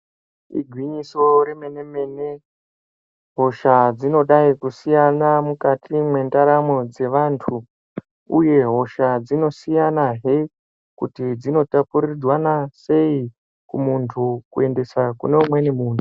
Igwinyiso remenemene hosha dzinodai kusiyana mukati mwendaramo dzevanthu uye hosha dzinosiyanahe kuti dzinotapurirwana sei kumunthu kuendesa kune umweni munthu.